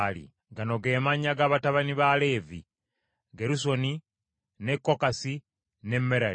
Gano ge mannya ga batabani ba Leevi: Gerusoni, ne Kokasi, ne Merali.